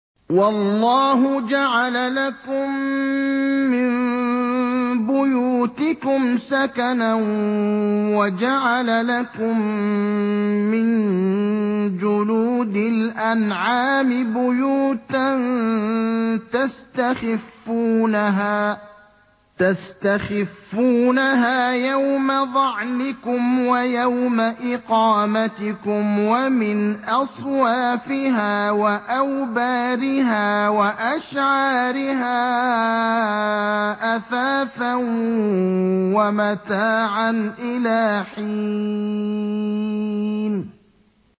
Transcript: وَاللَّهُ جَعَلَ لَكُم مِّن بُيُوتِكُمْ سَكَنًا وَجَعَلَ لَكُم مِّن جُلُودِ الْأَنْعَامِ بُيُوتًا تَسْتَخِفُّونَهَا يَوْمَ ظَعْنِكُمْ وَيَوْمَ إِقَامَتِكُمْ ۙ وَمِنْ أَصْوَافِهَا وَأَوْبَارِهَا وَأَشْعَارِهَا أَثَاثًا وَمَتَاعًا إِلَىٰ حِينٍ